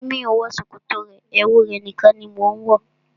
Mi ò wọ ṣòkòtò rẹ, ẹwu rẹ̀ nìkan ni mo ń wọ.